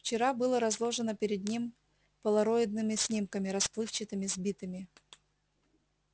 вчера было разложено перед ним полароидными снимками расплывчатыми сбитыми